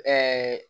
Ɛɛ